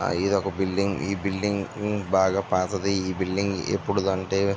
ఇది ఒక బిల్డింగ్ ఈ బిల్డింగ్ బాగా పాతది. ఈ బిల్డింగ్ ఎపుడు అంటే --